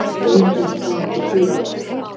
Enginn konungur dýranna.